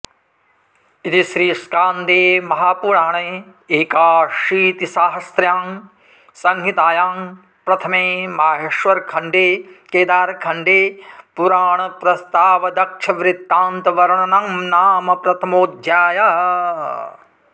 इति श्रीस्कान्दे महापुराण एकाशीतिसाहस्र्यां संहितायां प्रथमे माहेश्वरखण्डे केदारखण्डे पुराणप्रस्तावदक्षवृत्तान्तवर्णनंनाम प्रथमोऽध्यायः